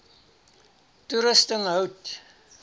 toerusting hout